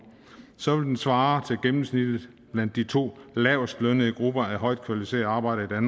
så vil den svare til gennemsnittet blandt de to lavestlønnede grupper af højt kvalificerede arbejdere i